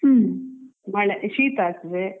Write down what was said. ಮಳೆ ಶೀತ ಆಗ್ತದೆ